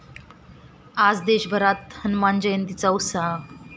आज देशभरात हनुमान जयंतीचा उत्साह!